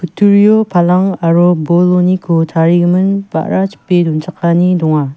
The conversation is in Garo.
palang aro boloniko tarigimin ba·ra chipe donchakani donga.